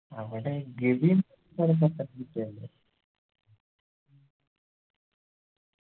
അവിടെ ഗവി